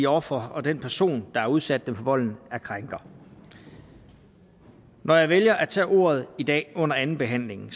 ofre og den person der har udsat dem for volden er krænker når jeg vælger at tage ordet i dag under andenbehandlingen